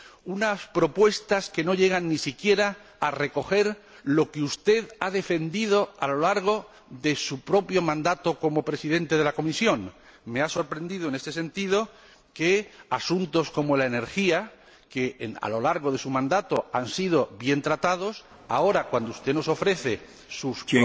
Unas propuestas que no llegan ni siquiera a recoger lo que usted ha defendido a lo largo de su propio mandato como Presidente de la Comisión. Me ha sorprendido, en este sentido, que asuntos como la energía, que, a lo largo de su mandato, han sido bien tratados, ahora, cuando usted nos ofrece sus